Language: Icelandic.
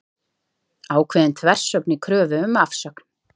Ákveðin þversögn í kröfu um afsögn